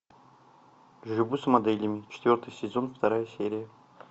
живу с моделями четвертый сезон вторая серия